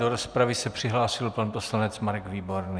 Do rozpravy se přihlásil pan poslanec Marek Výborný.